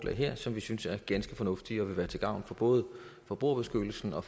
her som vi synes er ganske fornuftige og vil være til gavn for både forbrugerbeskyttelsen og